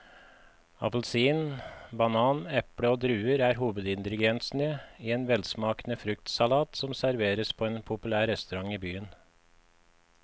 Appelsin, banan, eple og druer er hovedingredienser i en velsmakende fruktsalat som serveres på en populær restaurant i byen.